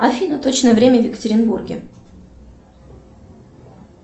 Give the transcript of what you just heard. афина точное время в екатеринбурге